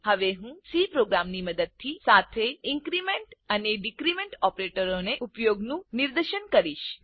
હવે હું C program ની મદદથી સાથે ઇન્ક્રીમેન્ટ અને ડીક્રીમેન્ટ ઓપરેટરનો ઉપયોગનું નિદર્શન કરીશ